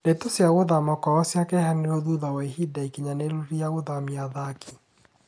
Ndeto cia gũthama kwao cikĩheanwo thutha wa ihinda ikinyanĩru rĩa gũthamia athaki